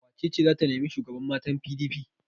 Wace ce za ta nemi shugaban matan PDP?